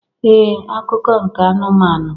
Ee akụkọ nke anụmanụ